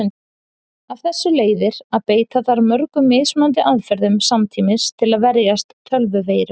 Af þessu leiðir að beita þarf mörgum mismunandi aðferðum samtímis til að verjast tölvuveirum.